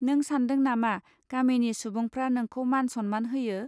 नों सान्दों नामा गामिनि सुबुंफ्रा नोंखौ मान सम्मान होयो